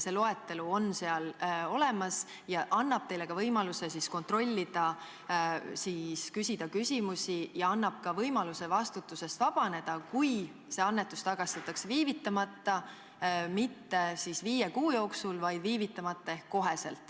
See loetelu on seal olemas ja annab teile võimaluse kontrollida, küsida küsimusi, ja see annab ka võimaluse vastutusest vabaneda, kui see annetus tagastatakse viivitamata – mitte viie kuu jooksul, vaid viivitamata ehk otsekohe.